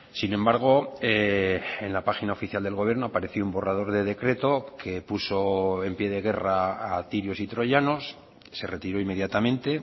sin embargo en la página oficial del gobierno apareció un borrador de decreto que puso en pie de guerra a tirios y troyanos se retiró inmediatamente